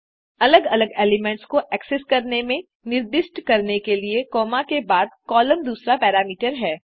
अलग अलग एलिमेंट्स को एक्सेस करने में निर्दिष्ट करने के लिए कॉमा के बाद कॉलम दूसरा पैरामीटर है